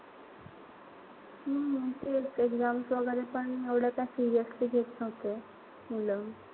हम्म तेच. Exams वगैरे पण एवढं काई seriously घेत नव्हते मुलं.